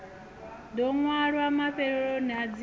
ḓo ṅwalwa mafheloni a dzina